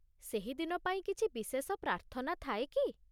ସେହି ଦିନ ପାଇଁ କିଛି ବିଶେଷ ପ୍ରାର୍ଥନା ଥାଏ କି?